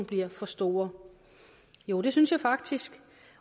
bliver for store jo det synes jeg faktisk